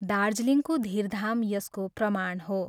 दार्जिलिङको धीरधाम यसको प्रमाण हो।